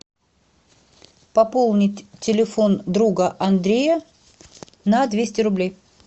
пополнить телефон друга андрея на двести рублей